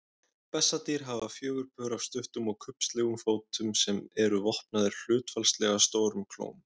Bessadýr hafa fjögur pör af stuttum og kubbslegum fótum sem eru vopnaðir hlutfallslega stórum klóm.